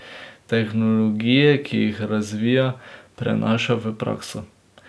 Tehnologije, ki jih razvija, prenaša v prakso.